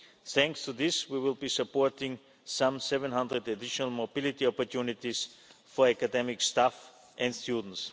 Thanks to this, we will be supporting some 700 additional mobility opportunities for academic staff and students.